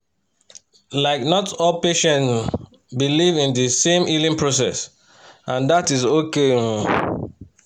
like not all patients um believe in the same healing process and that’s okay um